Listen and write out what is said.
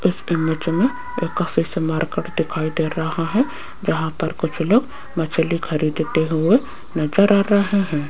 इस इमेज मे एक फिश मार्केट दिखाई दे रहा है जहां पर कुछ लोग मछली खरीदते हुए नजर आ रहे है।